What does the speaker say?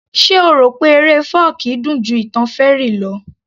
Ṣe o rò pé eré fọ́ọ̀kí dùn ju ìtàn fairy lọ